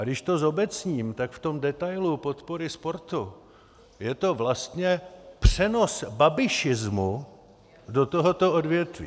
A když to zobecním, tak v tom detailu podpory sportu je to vlastně přenos babišismu do tohoto odvětví.